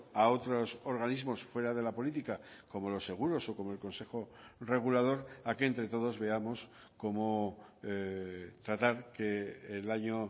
a otros organismos fuera de la política como los seguros o como el consejo regulador a que entre todos veamos cómo tratar que el año